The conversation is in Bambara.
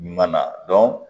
Ɲuman na